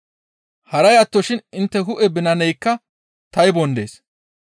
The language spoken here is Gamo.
Haray attoshin intte hu7e binanaykka taybon dees.